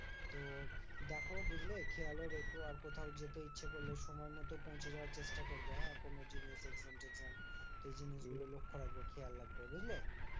তো দেখো বুঝলে? খেয়ালও রেখো আর কোথাও যেতে ইচ্ছে করলে সময় মতো পৌঁছে যাওয়ার চেষ্টা করবে হ্যাঁ? কোনো জিনিস সেই জিনিসগুলো লক্ষ্য রাখবে খেয়াল রাখবে, বুঝলে?